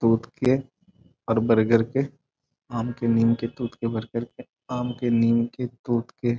Fruit के और बरगद के आम के निम् के फ्रूट के बरगद के। आम के निम् के फ्रूट के --